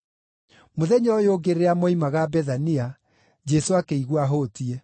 Mũthenya ũyũ ũngĩ rĩrĩa moimaga Bethania, Jesũ akĩigua ahũtiĩ.